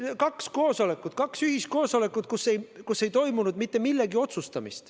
Oli kaks koosolekut, kaks ühiskoosolekut, kus ei otsustatud mitte midagi.